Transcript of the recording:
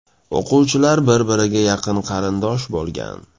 O‘quvchilar bir-biriga yaqin qarindosh bo‘lgan.